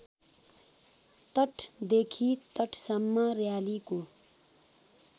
तटदेखि तटसम्म र्‍यालीको